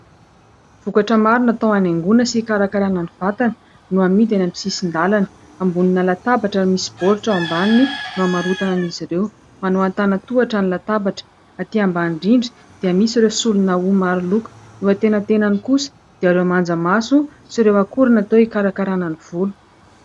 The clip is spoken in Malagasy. Vokatra maro natao hanangoina sy karakarana ny vatana no amidy any amin'ny sisin-dalana. Ambonina latabatra no misy baoritra ao ambaniny no hamarotana an'izy ireo : manao an-tanan- tohatra ny latabatra, aty ambany indrindra dia misy ireo solona hoho maro loko, eo an-tenatenany kosa dia ireo manjamaso sy ireo akora natao hikarakarana ny volo.